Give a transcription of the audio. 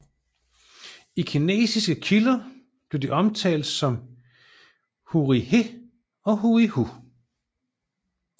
I kinesiske kilder blev de omtalt som Huíhé og Huihu